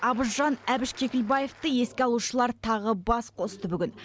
абыз жан әбіш кекілбаевты еске алушылар тағы бас қосты бүгін